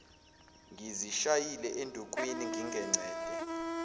ngizishayile endukwini ngingengcede